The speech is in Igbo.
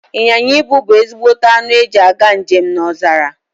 Inyịnya ibu bu ezigbote anụ eji aga njem n'ọzara